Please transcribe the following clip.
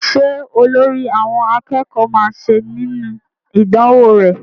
Ṣé olórí àwọn akẹ́kọ̀ọ́ máa ṣe nínú ìdánwó rẹ?